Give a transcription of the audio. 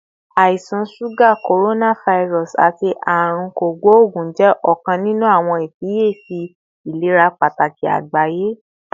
Àisan suga, coronavirus, ati Aarun Kogbogun jẹ ọkan ninu awọn ifiyesi ilera pataki agbaye